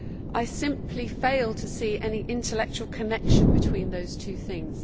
I simply fail to see any intellectual connection between those two things.